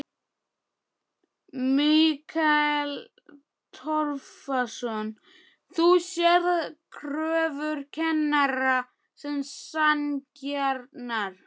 Mikael Torfason: Þú sérð kröfur kennara sem sanngjarnar?